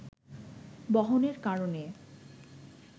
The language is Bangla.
বহনের কারণে